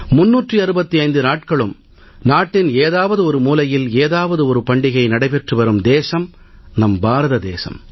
365 நாட்களும் நாட்டின் ஏதாவது ஒரு மூலையில் ஏதாவது ஒரு பண்டிகை நடைபெற்று வரும் தேசம் நம் பாரத தேசம்